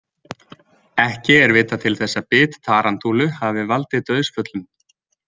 Ekki er vitað til þess að bit tarantúlu hafi valdið dauðsföllum.